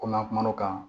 Ko n'an kumana o kan